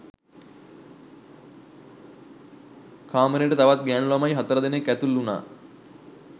කාමරේට තවත් ගෑණු ළමයි හතර දෙනෙක් ඇතුළු වුණා.